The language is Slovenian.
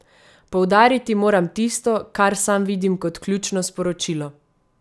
Poudariti moram tisto, kar sam vidim kot ključno sporočilo.